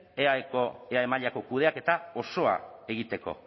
eae mailako kudeaketa osoa egiteko